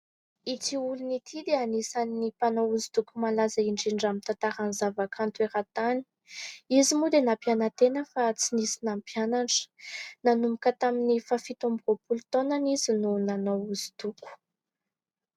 Ity olona ity dia anisan'ny olona mpanao hoso-doko malaza indrindra amin'ny tantaran'ny zavakanto era-tany. Izy moa dia nampiana-tena fa tsy nisy nampianatra. Nanomboka tamin'ny faha-fito amby roapolo taonany izy no nanao hoso-doko.